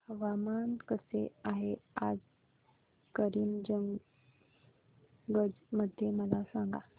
हवामान कसे आहे आज करीमगंज मध्ये मला सांगा